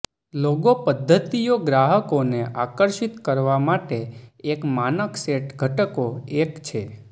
logo પદ્ધતિઓ ગ્રાહકોને આકર્ષિત કરવા માટે એક માનક સેટ ઘટકો એક છે